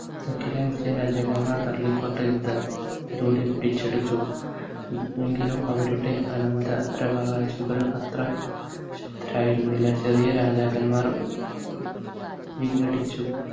ഡക്കിരെ മുസ്ലിം രാജാക്കന്മാർ പള്ളിക്കോട്ട യുദ്ധം ഇതോടെ പിടിച്ചെടുത്തു എങ്കിലും അവരുടെ അനന്തരാവകാശികൾ അത്ര ശക്തരായിരുന്നില്ല ചെറിയ രാജാക്കന്മാർ ഏർ വിഘടിച്ചു